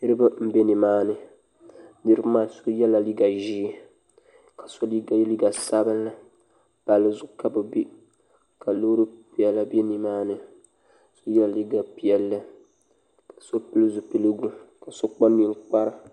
niriba n ɛ ni maa ni niriba maa so yɛla liga ʒiɛ ka so mi yɛ liga sabinli pali zʋɣ' ka be bɛ ka lori piɛlla bɛ ni maa ni so yɛla liga piɛli ka so pɛli zupɛligu ka so kpa nikpara